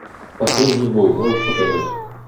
последний бой можешь показать